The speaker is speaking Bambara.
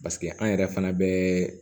paseke an yɛrɛ fana bɛɛ